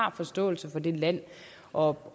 har forståelse for det land og